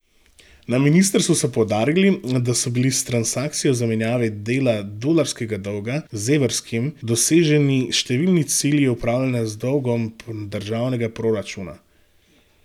Na ministrstvu so poudarili, da so bili s transakcijo zamenjave dela dolarskega dolga z evrskim doseženi številni cilji upravljanja z dolgom državnega proračuna.